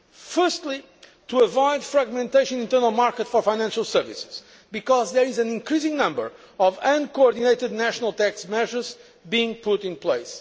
aims. Firstly, to avoid fragmentation of the internal market for financial services, because there are an increasing number of uncoordinated national tax measures being put in place.